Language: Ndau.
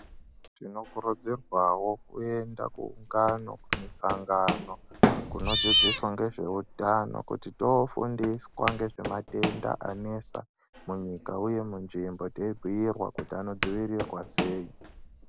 Tinokurudzirwawo kuenda kuungano kumisangano kunodzidziswa ngezveutano kuti toofundiswa ngezvematenda anesa munyika uye munzvimbo teibhiirwa kuti anodzivirirwa sei.